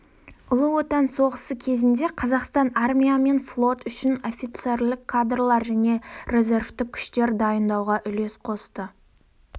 ұлы отан соғысы кезінде қазақстан армия мен флот үшін офицерлік кадрлар және резервтік күштер дайындауға үлес қосты